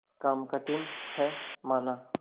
काम कठिन हैमाना